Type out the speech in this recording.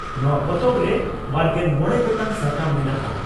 ᱱᱚᱣᱟ ᱯᱚᱛᱚᱵᱨᱮ ᱵᱟᱨᱜᱮᱞ ᱢᱚᱲᱮ ᱜᱚᱴᱟᱝ ᱥᱟᱛᱟᱢ ᱢᱮᱱᱟᱜᱼᱟ ᱾